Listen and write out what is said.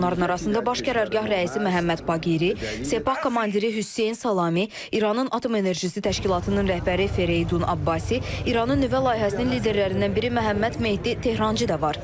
Onların arasında Baş Qərargah rəisi Məhəmməd Baqiri, Sepah komandiri Hüseyn Salami, İranın Atom Enerjisi Təşkilatının rəhbəri Fereydun Abbasi, İranın nüvə layihəsinin liderlərindən biri Məhəmməd Mehdi Tehrançı da var.